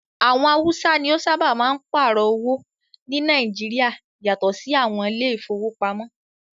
Àwọn haúsá ní o sábáà máa n páàrọ̀ owó ní Nàìjíríà yatọ sí àwọn ilé ìfọwọ́pamo.